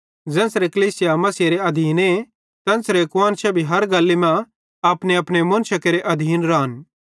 ज़ेन्च़रे कलीसिया मसीहेरे आधीने तेन्च़रे कुआन्शां भी हर गल्ली मां अपनेअपने मुन्शेरे आधीन रान